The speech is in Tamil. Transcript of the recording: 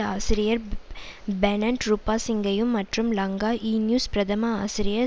ஆசிரியர் பெனட் ரூபசிங்கவையும் மற்றும் லங்கா ஈ நியூஸ் பிரிதம ஆசிரியர்